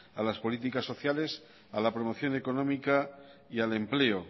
a las políticas sociales a la promoción económica y al empleo